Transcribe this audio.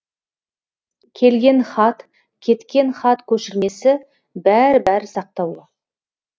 келген хат кеткен хат көшірмесі бәрі бәрі сақтаулы